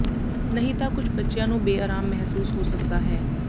ਨਹੀਂ ਤਾਂ ਕੁਝ ਬੱਚਿਆਂ ਨੂੰ ਬੇਆਰਾਮ ਮਹਿਸੂਸ ਹੋ ਸਕਦਾ ਹੈ